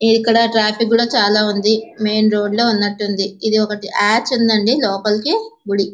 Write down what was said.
ఇక్కడ ట్రాఫిక్ కూడా చాలా ఉంది. మెయిన్ రోడ్ లో ఉన్నట్టుంది. ఇది ఒకటి ఆడ్ ఉందండి లోపలికి గుడి --